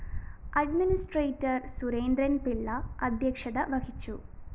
administrator Surendran Pillai അദ്ധ്യക്ഷത വഹിച്ചു